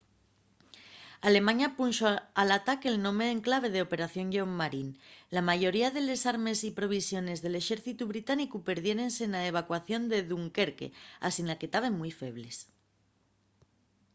alemaña punxo al ataque'l nome en clave de operación lleón marín”. la mayoría de les armes y provisiones del exércitu británicu perdiérense na evacuación de dunquerque asina que taben mui febles